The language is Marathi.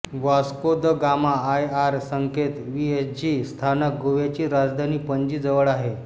वास्को द गामा आय आर संकेत व्हीएसजी स्थानक गोव्याची राजधानी पणजी जवळ आहे